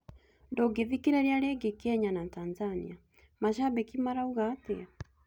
Ndũngĩthikĩrĩria rĩngĩ Kenya na Tanzania; macambĩki marauga atia?